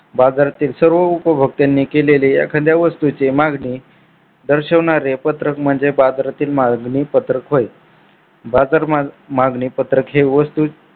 बाजारातील सर्व उपभोगत्यानी केलेले एखाद्या वस्तूचे मागणी दर्शवणारे पत्रक म्हणजे बाजारातील मागणी पत्रक होय. बाजार मागणी पत्रक हे वस्तू